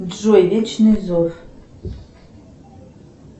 джой вечный зов